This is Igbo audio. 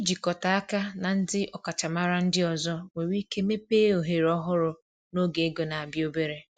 Ịjikọta aka na ndị ọkachamara ndị ọzọ nwere ike mepee ohere ọhụrụ n’oge ego na-abịa obere.